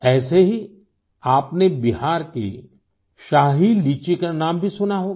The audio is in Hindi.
ऐसे ही आपने बिहार की शाही लीची का नाम भी सुना होगा